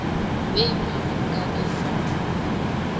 wemavukabesala